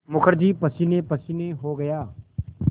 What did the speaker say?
मुखर्जी पसीनेपसीने हो गया